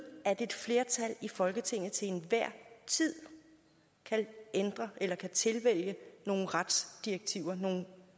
at et flertal i folketinget til enhver tid kan ændre eller kan tilvælge nogle retsdirektiver og nogle